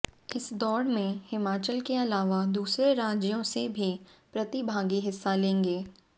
इस दौड़ में हिमाचल के अलावा दूसरे राज्यों से भी प्रतिभागी हिस्सा लेंगे